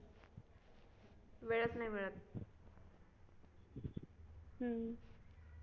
वेळच नाही मिळत